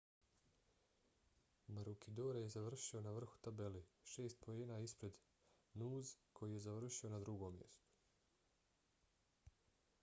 maroochydore je završio na vrhu tabele šest poena ispred noose koji je završio na drugom mjestu